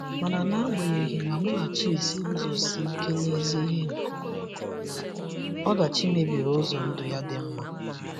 Mana n'agbanyeghị na Munachi’s iguzosi ike n'ezi ihe nke omume, ọdachi mebiri ụzọ ndụ ya dị mma.